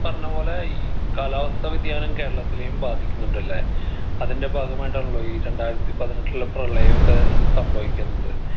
പറഞ്ഞപ്പോലെ ഈ കാലാവസ്ഥാ വ്യതിയാനം കേരളത്തിലെയും ബാധിക്കുന്നുണ്ട്ല്ലെ അതിൻ്റെ ഭാഗമായിട്ടാണല്ലോ ഈ രണ്ടായിരത്തി പതിനെട്ടിലെ പ്രളയൊക്കെ ഏർ സംഭവിക്കുന്നത്